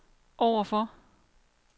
overfor